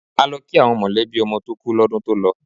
A lọ kí àwọn mọ̀lẹ́bí ọmọ tó kú lọ́dún tó lọ.